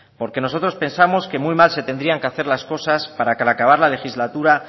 porque nosotros pensamos que muy mal se tendrían que hacer las cosas para que al acabar la legislatura